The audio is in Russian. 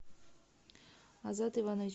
азат иванович